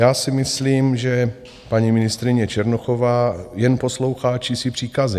Já si myslím, že paní ministryně Černochová jen poslouchá čísi příkazy.